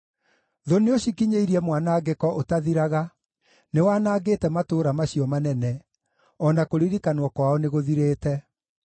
Thũ nĩũcikinyĩirie mwanangĩko ũtathiraga, nĩwanangĩte matũũra macio manene; o na kũririkanwo kwao nĩgũthirĩte.